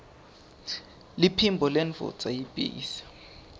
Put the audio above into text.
liphimbo lendvodza yiytbase